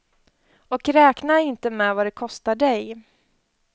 Och räknar inte med vad det kostar dig.